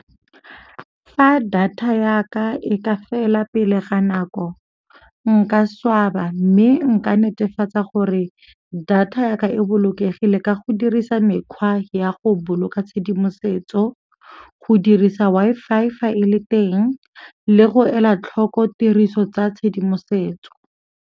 Fa data yaka e ka fela pele ga nako nka swaba mme nka netefatsa gore data ya ka e bolokegile ka go dirisa mekgwa ya go boloka tshedimosetso, go dirisa Wi-Fi fa e le teng le go ela tlhoko tiriso tsa tshedimosetso.